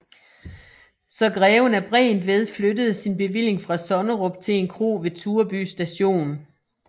Så greven af Bregentved flyttede sin bevilling fra Sonnerup til en kro ved Tureby Station